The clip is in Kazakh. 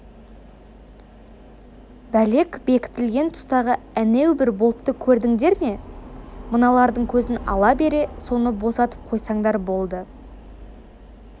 бәлек бекітілген тұстағы әнеу бір болтты көрдіңдер ме мыналардың көзін ала бере соны босатып қойсаңдар болды